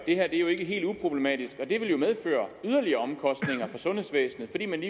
er ikke helt uproblematisk og det vil jo medføre yderligere omkostninger for sundhedsvæsenet fordi man